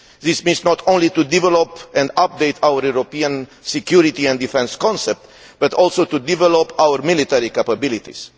This means not only developing and updating our European security and defence concept but also developing our military capabilities.